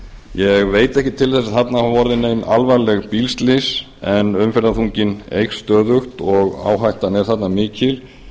ég veit ekki til þess að þarna hafi orðið nein alvarleg bílslys en umferðarþunginn eykst stöðugt áhættan er mikil